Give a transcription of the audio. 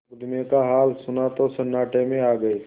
मुकदमे का हाल सुना तो सन्नाटे में आ गये